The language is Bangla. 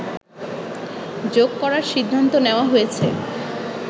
যোগ করার সিদ্ধান্ত নেওয়া হয়েছে